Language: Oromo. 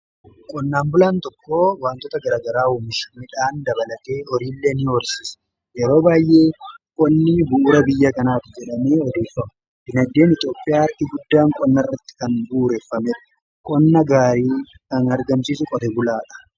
Qonnaan bulaan tokko wantoota garagaraaumish midhaan dabalatee horiillee ni horsiisa yeroo baayyee qonni buura biyya kanaati jedhamee odoofa'u binadeen eixiophiyaa harkii guddaan qonna irratti kan buureeffame qonna gaarii kan argamsiisu qote bulaadha